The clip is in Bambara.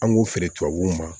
An b'u feere tubabuw ma